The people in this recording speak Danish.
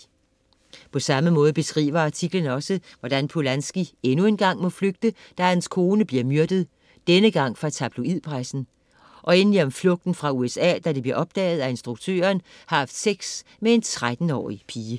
På samme måde beskriver artiklen også, hvordan Polanski endnu en gang må flygte, da hans kone bliver myrdet - denne gang fra tabloidpressen. Og endelig om flugten fra USA, da det bliver opdaget, at instruktøren har haft sex med en 13-årig pige.